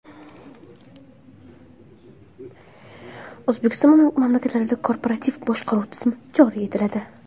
O‘zbekiston maktablarida korporativ boshqaruv tizimi joriy etiladi.